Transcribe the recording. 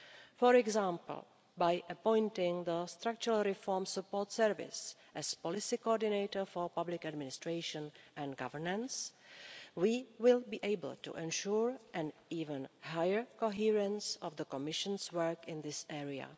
For example, by appointing the structural reform support service as policy coordinator for public administration and governance, we will be able to ensure an even higher coherence of the Commission's work in this area.